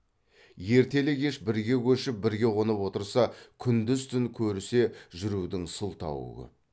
ертелі кеш бірге көшіп бірге қонып отырса күндіз түн көрісе жүрудің сылтауы көп